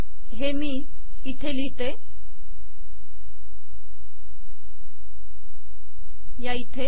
हे मी इथे लिहिते